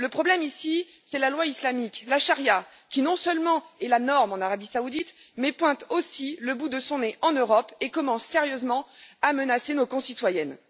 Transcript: Le problème ici, c'est la loi islamique, la charia, qui non seulement est la norme en Arabie saoudite, mais qui pointe aussi le bout de son nez en Europe et commence sérieusement à menacer nos concitoyennes.